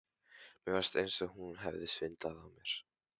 Mér fannst eins og hún hefði svindlað á mér.